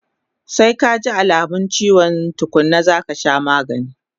Sai kaji alamun chiwo tukkuna zaka sha magani